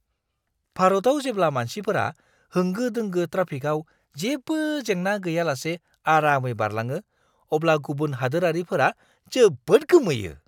भारतआव जेब्ला मानसिफोरा होंगो-दोंगो ट्राफिकआव जेबो जेंना गैयालासे आरामै बारलाङो, अब्ला गुबुन हादोरारिफोरा जोबोद गोमोयो!